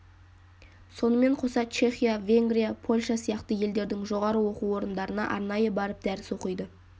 сонымен қоса чехия венгрия польша сияқты елдердің жоғары оқу орындарына арнайы барып дәріс оқиды